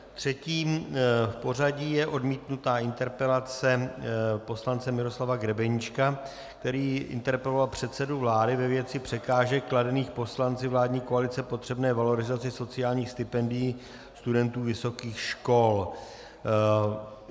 Třetí v pořadí je odmítnutá interpelace poslance Miroslava Grebeníčka, který interpeloval předsedu vlády ve věci překážek kladených poslanci vládní koalici potřebné valorizaci sociálních stipendií studentů vysokých škol.